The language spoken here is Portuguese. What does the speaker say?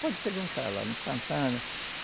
Pode perguntar lá no Santana.